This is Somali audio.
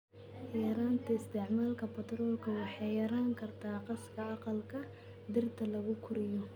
Yaraynta isticmaalka batroolka waxay yarayn kartaa gaaska aqalka dhirta lagu koriyo.